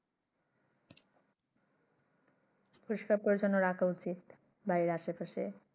পরিস্কার পরিচ্ছন্ন রাখা উচিৎ বাড়ির আসে পাশে